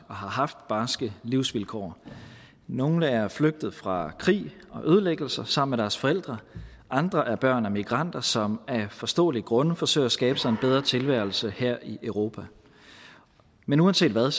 og har haft barske livsvilkår nogle er flygtet fra krig og ødelæggelser sammen med deres forældre andre er børn af migranter som af forståelige grunde forsøger at skabe sig en bedre tilværelse her i europa men uanset hvad